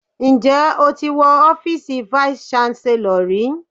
Ǹjẹ́ o ti wọ ọ́fíìsì vice Chancellor rí?